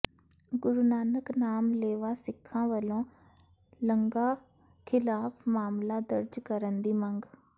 ਗੁਰੂ ਨਾਨਕ ਨਾਮ ਲੇਵਾ ਸਿੱਖਾਂ ਵਲੋਂ ਲੰਗਾਹ ਿਖ਼ਲਾਫ਼ ਮਾਮਲਾ ਦਰਜ ਕਰਨ ਦੀ ਮੰਗ